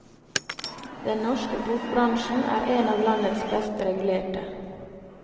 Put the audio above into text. Den norske bokbransjen er en av landets best regulerte.